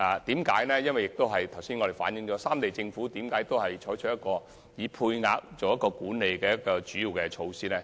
正如我剛才所說，為何三地政府均採取配額制作為主要的交通管理措施？